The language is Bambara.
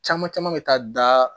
Caman caman bɛ taa da